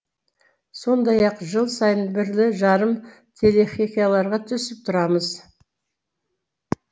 сондай ақ жыл сайын бірлі жарым телехикаяларға түсіп тұрамыз